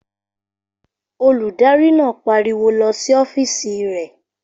Olùdarí náà pariwo lọ sí ọ́fìsì re!